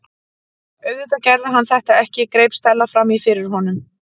Auðvitað gerði hann þetta ekki- greip Stella fram í fyrir honum.